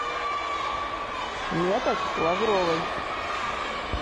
метод лавровой